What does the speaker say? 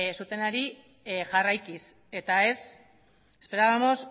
zutenari jarraikiz esperábamos